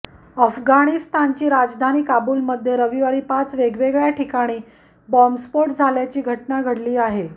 अफगानिस्तानची राजधानी काबुलमध्ये रविवारी पाच वेगवेगळ्या ठिकाणी बॉम्ब स्फोट झाल्याची घटना घडली आहे